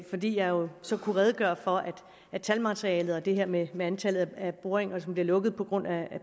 fordi jeg jo så kunne redegøre for at talmaterialet og det her med med antallet af boringer som bliver lukket på grund af